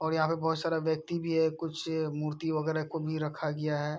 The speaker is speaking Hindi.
और यहाँ पे बहोत सारा व्यक्ति भी है कुछ मूर्ति वगेरा को भी रखा गया है।